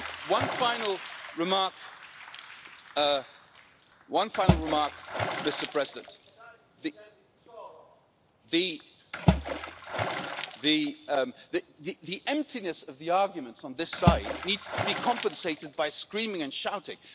One final remark the emptiness of the arguments on this side need to be compensated by screaming and shouting.